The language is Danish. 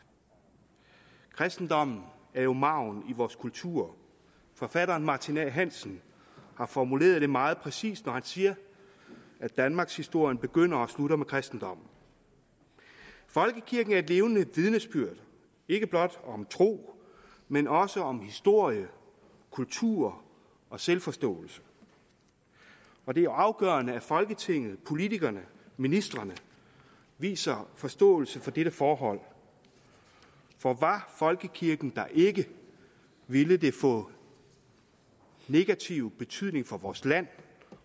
kristendommen er jo marven i vores kultur forfatteren martin a hansen har formuleret det meget præcist når han siger at danmarkshistorien begynder og slutter med kristendommen folkekirken er et levende vidnesbyrd ikke blot om tro men også om historie kultur og selvforståelse og det er afgørende at folketinget politikerne ministrene viser forståelse for dette forhold for var folkekirken der ikke ville det få negativ betydning for vores land